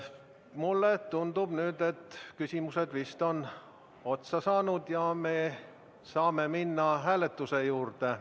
Mulle tundub, et küsimused on otsa saanud ja me saame minna hääletuse juurde.